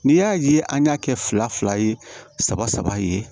N'i y'a ye an y'a kɛ fila fila ye saba saba ye